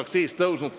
Aitäh, peaminister!